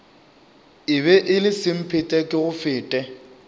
e be e le semphetekegofete